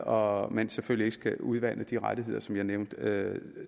og at man selvfølgelig ikke skal udvande de rettigheder som jeg nævnte